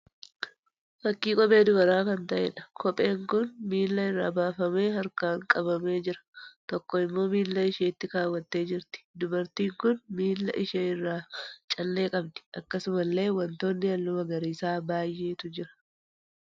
Fakkii kophee dubaraa kan ta'eedha. Kopheen kun miila irraa baafamee harkaan qabamee jira. Tokko immoo miila isheetti kaawwattee jirti. Dubartiin kun miila ishee irraa callee qabdi. Akkasumallee wantoonni halluu magariisaa baay'eetu jira.